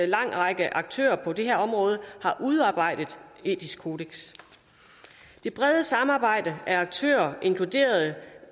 lang række aktører på dette område har udarbejdet et etisk kodeks det brede samarbejde af aktører inkluderede